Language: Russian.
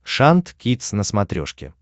шант кидс на смотрешке